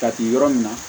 Ka di yɔrɔ min na